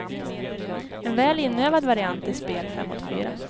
En väl inövad variant i spel fem mot fyra.